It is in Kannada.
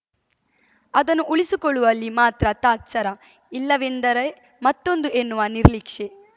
ಅದನ್ನು ಉಳಿಸಿಕೊಳ್ಳುವಲ್ಲಿ ಮಾತ್ರ ತಾತ್ಸರ ಇದಿಲ್ಲವೆಂದರೆ ಮತ್ತೊಂದು ಎನ್ನುವ ನಿರ್ಲಿಕ್ಷೆ